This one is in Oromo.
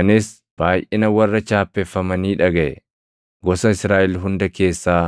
Anis baayʼina warra chaappeffamanii dhagaʼe: gosa Israaʼel hunda keessaa